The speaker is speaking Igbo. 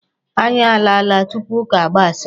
Anyị alaala tupu ụka gbasaa.